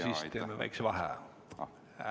Siis teeme väikese vaheaja.